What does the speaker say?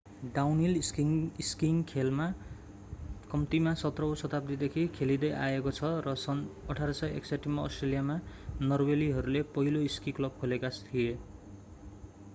downhill skiing खेल कम्तीमा 17औं शताब्दीदेखि खेलिदै आइएको छ र सन् 1861 मा अष्ट्रेलियामा नर्वेलीहरूले पहिलो स्की क्लब खोलेका थिए